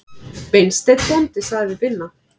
Beinteinn bóndi sagði við Binna